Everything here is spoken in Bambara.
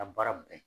A baara bɛɛ